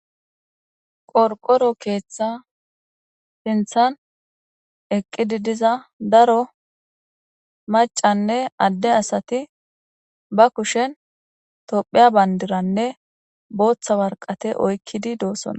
qorqoro keeththa sinthan eqqidi diza daro macanne adde asati ba kushen tophiya bandiranne booththa warqate oykkidi doossonna